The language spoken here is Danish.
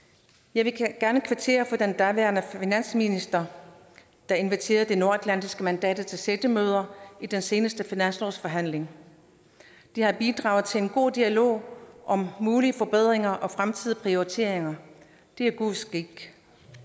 jeg vil gerne kvittere over for den daværende finansminister der inviterede de nordatlantiske mandater til sættemøder i den seneste finanslovsforhandling det har bidraget til en god dialog om mulige forbedringer og fremtidige prioriteringer det er god skik